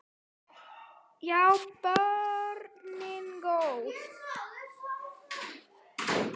Já, börnin góð.